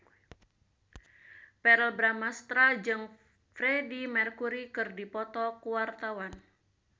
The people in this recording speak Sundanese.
Verrell Bramastra jeung Freedie Mercury keur dipoto ku wartawan